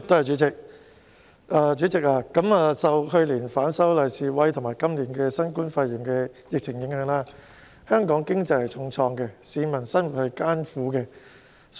主席，受去年反修例示威和今年新冠肺炎疫情影響，香港經濟重創，市民生活艱苦。